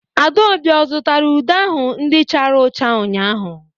Adaobi ọ zụtara ude ahụ ndị chara ụcha ụnyahụ?